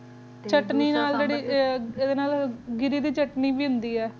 ਚਟਨੀ ਨਾਲ ਜੇਰੀ ਗਿਰ੍ਰੀ ਦੀ ਚਟਨੀ ਵੀ ਹੋਂਦੀ ਆ